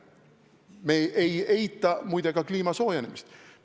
Me ei eita, muide, ka kliima soojenemist.